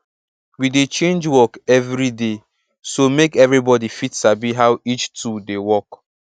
we dey change work every day so make everybody fit sabi how each tool dey work